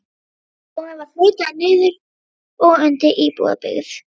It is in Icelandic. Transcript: Lóðin var hlutuð niður og seld undir íbúðabyggð.